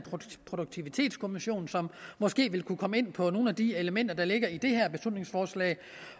produktivitetskommission som måske vil kunne komme ind på nogle af de elementer der ligger i det her beslutningsforslag